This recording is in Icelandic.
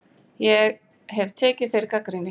Ég hef tekið þeirri gagnrýni.